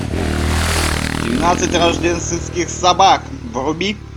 двенадцать рождественских собак вруби